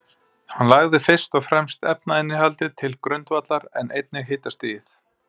Hann lagði fyrst og fremst efnainnihaldið til grundvallar, en einnig hitastigið.